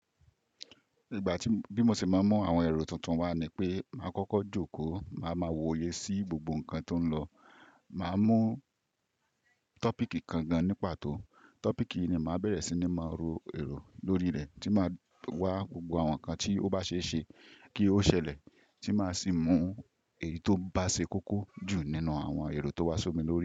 Ìgbà tí bí mo ṣe máa ń mú àwọn èrò tuntun wá ni pé màá kọ́kọ́ jókòó, màá ma wòye sí gbogbo nǹkan tó ń lọ. Màá mú tọ́pìkì kan gan ní pàtó, tọ́pìkì yìí ni màá bẹ̀rẹ̀ sí ní máa ro èrò lórí rẹ̀ tí màá wá gbogbo àwọn nǹkan tí ó bá ṣe é ṣe kí ó ṣẹlẹ̀ tí màá sì mú èyí tó bá ṣe kókó jù nínú àwọn èrò tó wá sómi lórí rẹ̀